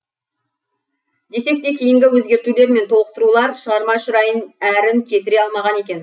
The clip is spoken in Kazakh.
десек те кейінгі өзгертулер мен толықтырулар шығарма шырайын әрін кетіре алмаған екен